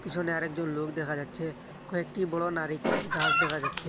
পিছনে আরেকজন লোক দেখা যাচ্ছে কয়েকটি বড় নারিকেলের গাছ দেখা যাচ্ছে।